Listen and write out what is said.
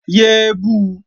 Yé é bu!